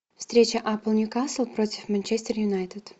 встреча апл ньюкасл против манчестер юнайтед